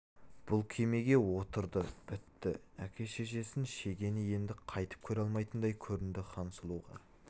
бұл кемеге отырды бітті әке-шешесін шегені енді қайтып көре алмайтындай көрінді хансұлуға